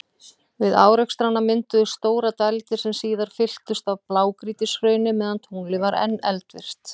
Við árekstrana mynduðust stórar dældir, sem síðar fylltust af blágrýtishrauni meðan tunglið var enn eldvirkt.